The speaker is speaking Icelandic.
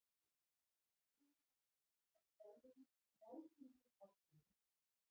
Í hugum margra er þorrinn nátengdur ákveðnum mat.